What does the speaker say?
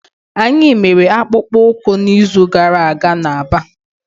Anyị mere akpụkpọ ụkwụ n'izu gara aga na Aba.